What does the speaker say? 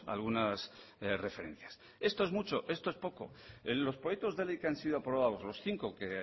algunas referencias esto es mucho esto es poco en los proyectos de ley que han sido aprobados los cinco que